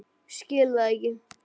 Skil það ekki.